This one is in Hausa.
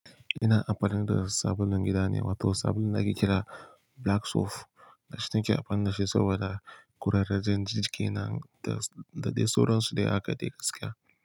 Ina amfani da sabulun gida ne, wato sabulun da ake kira. Black Soap. Ni nake amfani da shi saboda ƙurarrajen jikina da dai sauran su dai a haka gaskiya.